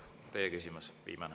viimane.